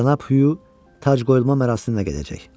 Cənab Huyu tac qoyulma mərasiminə gedəcək.